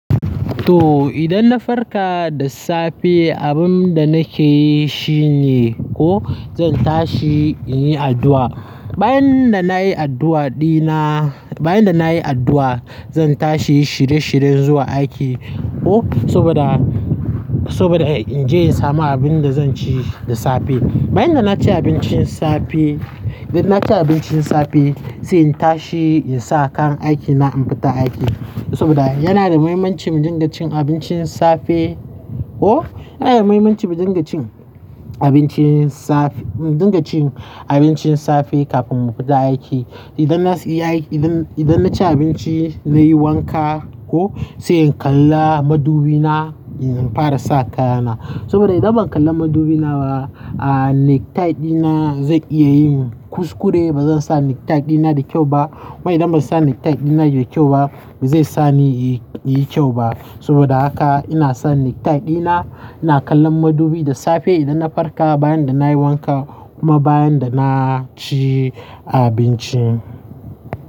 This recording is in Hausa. To idan na farka da safe abin da nake yi shine ko zan tashi in yi addu'a. Bayan da na yi addu'a dina, bayan da na yi addu'a zan tashi shiri-shiri zuwa aiki oh, saboda, saboda in je in samu abin da zan ci da safe. Bayan da na ci abincin safe, idan na ci abincin safe sai in tashi in sa kayan aikina in fita aiki saboda yana da muhimmanci mu dinga cin abincin safe oh. Yana da muhimmanci mu dinga cin abincin safe, mu dinga cin abincin safe kafin mu fita aiki. Idan na ci, idan, idan na ci abinci zai yi wanka ko sai in kalla madubi na in fara sa kayana. Saboda idan ban kalla madubi na ba, ah necktie dina zai iya yin kuskure ba zan sa necktie dina da kyau ba. Mai idan ba zan sa necktie dina da kyau ba, ba zai sa ni yi, yi kyau ba. Saboda haka ina sa necktie dina, ina kallon madubi da safe idan na farka bayan da na yi wanka kuma bayan da na ci abinci.